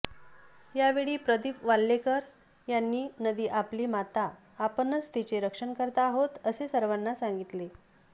यावेळी प्रदीप वाल्हेकर यांनी नदी आपली माता आपणच तिचे रक्षणकर्ता आहोत असे सर्वांना सांगितले